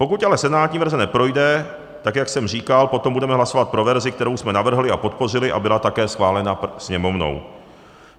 Pokud ale senátní verze neprojde tak, jak jsem říkal, potom budeme hlasovat pro verzi, kterou jsme navrhli a podpořili a byla také schválena Sněmovnou.